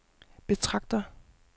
betragter